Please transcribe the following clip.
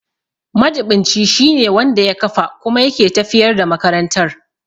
Majiɓinci shine wanda ya kafa kuma yake tafiyar da makarantar.